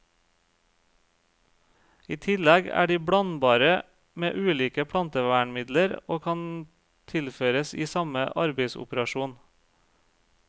I tillegg er de blandbare med ulike plantevernmidler og kan tilføres i samme arbeidsopperasjon.